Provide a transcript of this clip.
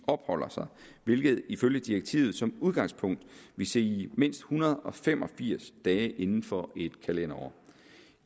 opholder sig hvilket ifølge direktivet som udgangspunkt vil sige i mindst en hundrede og fem og firs dage inden for et kalenderår